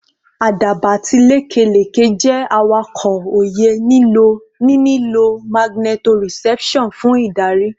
Àdàbà àti lekeleke jẹ́ awakọ̀ òye, ní lílo magnetoreception fún ìdarí